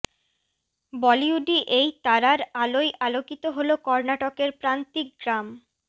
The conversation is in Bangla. বলিউডি এই তারার আলোয় আলোকিত হল কর্ণাটকের প্রান্তিক গ্রাম